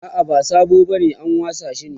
a'a ba sabo bane an wasa shi ne